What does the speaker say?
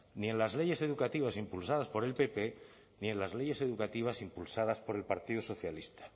ni en las leyes educativas impulsadas por el pp ni en las leyes educativas impulsadas por el partido socialista